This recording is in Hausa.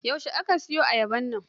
Yaushe aka soya ayabar nan?